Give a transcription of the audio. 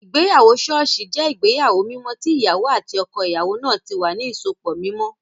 Ìgbéyàwó ṣọ́ọ̀ṣì jẹ́ ìgbéyàwó mímọ́ tí ìyàwó àti ọkọ ìyàwó náà tí wà ní ìsopọ̀ mímọ́